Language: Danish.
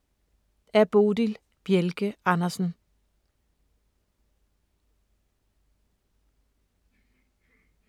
Af Bodil Bjelke Andersen